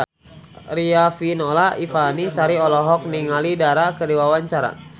Riafinola Ifani Sari olohok ningali Dara keur diwawancara